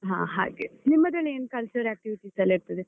ಹ ಹಾಗೆ. ನಿಮ್ಮದ್ರಲ್ಲ್ ಏನ್ cultural activities ಎಲ್ಲ ಇರ್ತದೆ?